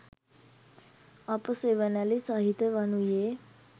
අප සෙවනැලි සහිත වනුයේ